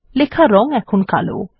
লেখার রং এখন কালো